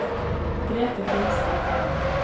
Grete Grimstad